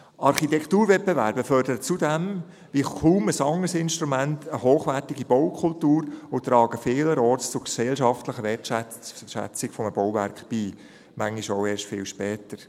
Architekturwettbewerbe fördern zudem wie kaum ein anderes Instrument eine hochwertige Baukultur und tragen vielerorts zu gesellschaftlicher Wertschätzung eines Bauwerks bei, manchmal auch erst viel später.